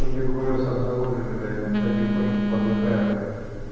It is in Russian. туберкулёз обнаружили блядь вот потихоньку подыхаю блядь